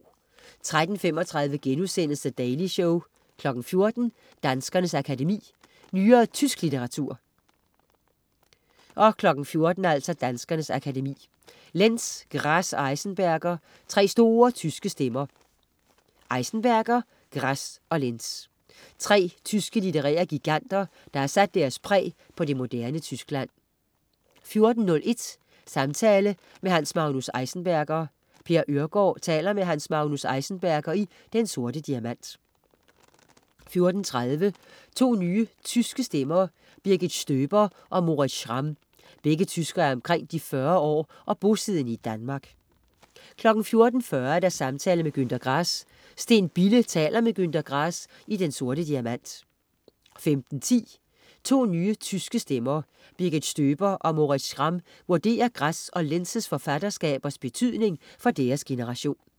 13.35 The Daily Show* 14.00 Danskernes Akademi. Nyere tysk litteratur 14.00 Danskernes Akademi. Lenz, Grass og Enzensberger, tre store tyske stemmer. Enzensberger, Grass og Lenz. Tre tyske litterære giganter, der har sat deres præg på det moderne Tyskland 14.01 Samtale med Hans Magnus Enzensberger. Per Øhrgaard taler med Hans Magnus Enzensberger i Den Sorte Diamant 14.30 To nye tyske stemmer. Birgit Stöber og Moritz Schramm. Begge tyskere er omkring de 40 år og bosiddende i Danmark 14.40 Samtale med Günther Grass. Steen Bille taler med Günther Grass i Den Sorte Diamant 15.10 To nye tyske stemmer. Birgit Stöber og Moritz Schramm vurderer Grass og Lenz' forfatterskabers betydning for deres generation